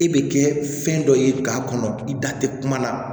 E bɛ kɛ fɛn dɔ ye k'a kɔnɔ i da tɛ kuma la